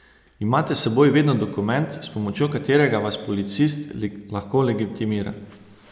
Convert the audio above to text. Imate s seboj vedno dokument, s pomočjo katerega vas policist lahko legitimira?